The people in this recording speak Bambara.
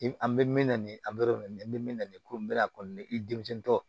I an bɛ min na nin an bɛ nin min na nin ko in bɛ na kɔni i denmisɛnnin tɔ